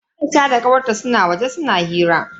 Aisha da kawar ta suna waje suna hira.